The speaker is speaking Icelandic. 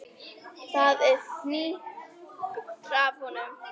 Það er fnykur af honum.